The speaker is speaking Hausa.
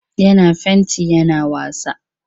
Yana fenti yana wasa.